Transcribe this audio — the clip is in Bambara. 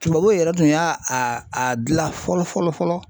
Tubabuw yɛrɛ tun y'a a a dilan fɔlɔ fɔlɔ fɔlɔ.